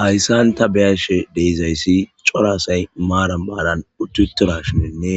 Hayssan ta beyashe deizayssi coraasay maaram maadan ututira shininne